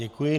Děkuji.